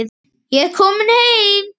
Ég er kominn heim.